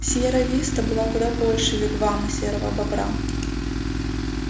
сиерра виста была куда больше вигвама серого бобра